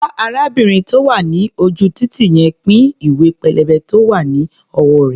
Bá arábìnrin tó wà ní ojú-títì yẹn pín ìwé-pélébé tó wá̀ ní ọwọ́ rẹ̀.